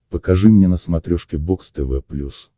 покажи мне на смотрешке бокс тв плюс